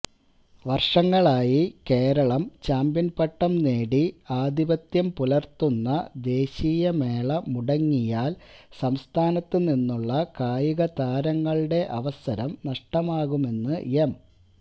വര്ഷങ്ങളായി കേരളം ചാമ്പ്യന്പട്ടം നേടി ആധിപത്യം പുലര്ത്തുന്ന ദേശീയമേള മുടങ്ങിയാല് സംസ്ഥാനത്തുനിന്നുള്ള കായികതാരങ്ങളുടെ അവസരം നഷ്ടമാകുമെന്ന് എം